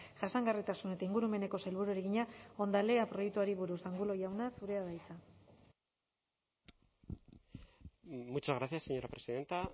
jasangarritasun eta ingurumeneko sailburuari egina hondalea proiektuari buruz angulo jauna zurea da hitza muchas gracias señora presidenta